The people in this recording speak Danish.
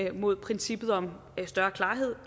imod princippet om større klarhed